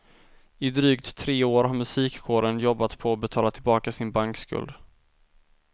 I drygt tre år har musikkåren jobbat på att betala tillbaka sin bankskuld.